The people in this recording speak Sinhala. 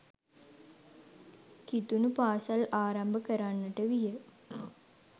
කිතුනු පාසල් ආරම්භ කරන්නට විය.